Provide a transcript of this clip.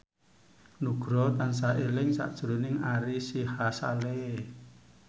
Nugroho tansah eling sakjroning Ari Sihasale